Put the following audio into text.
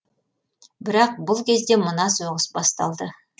бірақ бұл кезде мына соғыс басталды